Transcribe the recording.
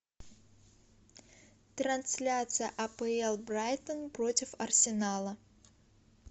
трансляция апл брайтон против арсенала